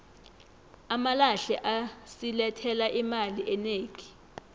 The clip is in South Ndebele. amalahle asilethela imali enegi